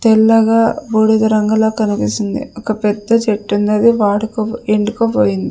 తెల్లగా బూడిద రంగులో కనిపిస్తుంది ఒక పెద్ద చెట్టుంది అది వాడుకో ఎండుకపోయింది.